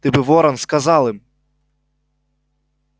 ты бы ворон сказал им